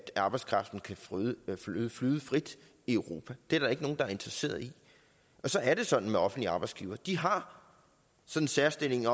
arbejdskraften kan flyde flyde frit i europa det er der ikke nogen der er interesseret i så er det sådan med offentlige arbejdsgivere at de har den særstilling